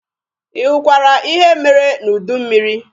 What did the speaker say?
Ị hụkwara ihe mere n'udu mmịrị?